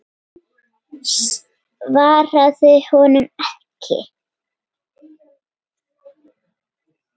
Hún svaraði honum ekki.